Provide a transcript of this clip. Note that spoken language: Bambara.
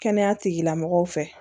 Kɛnɛya tigilamɔgɔw fɛ